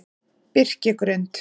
Birkigrund